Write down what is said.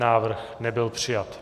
Návrh nebyl přijat.